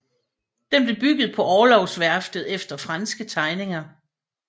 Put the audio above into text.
Den blev bygget på Orlogsværftet efter franske tegninger